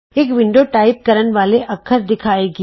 ਇਕ window type ਕਰਨ ਵਾਲੇ ਅੱਖਰ ਦਿਖਾਏਗੀ